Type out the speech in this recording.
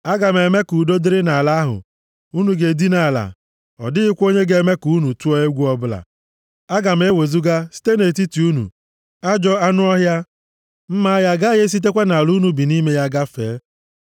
“ ‘Aga m eme ka udo dịrị nʼala ahụ, unu ga-edina ala, ọ dịghịkwa onye ga-eme ka unu tụọ egwu ọbụla. Aga m ewezuga site nʼetiti unu ajọ anụ ọhịa, mma agha agaghị esitekwa nʼala unu bi nʼime ya gafee.